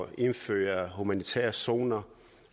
indføre humanitære zoner